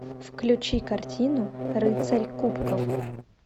включи картину рыцарь кубков